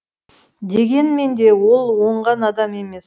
дегенмен де ол оңған адам емес